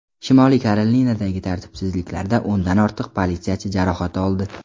Shimoliy Karolinadagi tartibsizliklarda o‘ndan ortiq politsiyachi jarohat oldi.